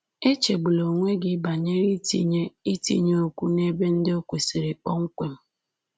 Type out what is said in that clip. Echegbula onwe gị banyere itinye itinye okwu n’ebe ndị o kwesịrị kpọmkwem